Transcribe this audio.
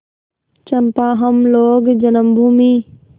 चंपा हम लोग जन्मभूमि